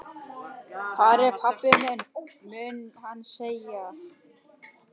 Hvar er pabbi minn? mun hann segja.